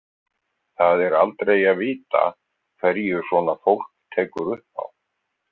Það er aldrei að vita hverju svona fólk tekur upp á.